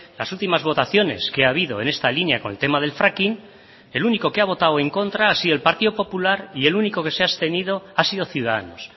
las últimas votaciones que ha habido en esta línea con el tema del fracking el único que ha votado en contra ha sido el partido popular y el único que se ha abstenido ha sido ciudadanos